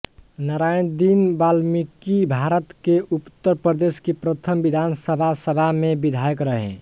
नारायण दीन बालमीकिभारत के उत्तर प्रदेश की प्रथम विधानसभा सभा में विधायक रहे